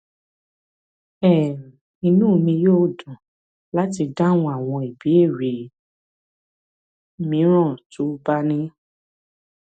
um inú mi yóò dùn láti dáhùn àwọn ìbéèrè mìíràn tó o bá ní